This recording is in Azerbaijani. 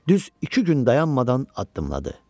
Düz iki gün dayanmadan addımladı.